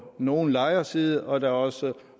nogle lejeres side og at der også er